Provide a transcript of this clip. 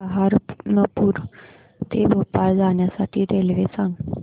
सहारनपुर ते भोपाळ जाण्यासाठी रेल्वे सांग